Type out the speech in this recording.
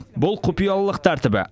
бұл құпиялылық тәртібі